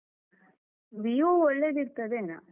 Vivo ಒಳ್ಳೆದಿರ್ತದೇನಾ.